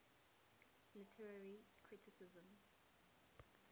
literary criticism